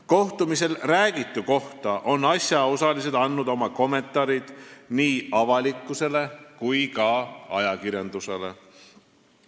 Kohtumisel räägitu kohta on asjaosalised andnud oma kommentaarid nii avalikkusele kui ka ajakirjandusele.